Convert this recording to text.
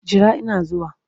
Jira ina zuwa!